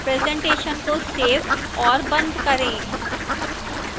presentation को save और बंद करें